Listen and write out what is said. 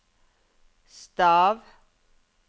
stav